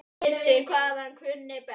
Vissi hvað hann kunni best.